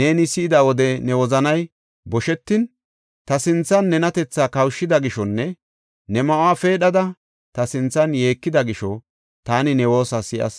neeni si7ida wode ne wozanay boshetin, ta sinthan nenatethaa kawushida gishonne ne ma7uwa peedhada ta sinthan yeekida gisho taani ne woosa si7as.